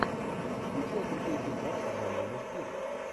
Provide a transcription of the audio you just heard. включай крутой фильмок в жанре мультфильм